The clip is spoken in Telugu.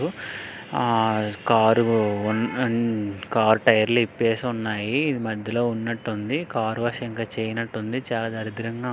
ఆ కార్ కార్ టైర్ స్ ఇప్పేసి ఉన్నాయి. ఇది మధ్యలో ఉన్నట్టుంది కార్ వాష్ ఇంకా చెయ్యనట్టుంది చాలా దరిద్రంగా ఉంది.